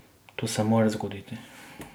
To se mora zgoditi.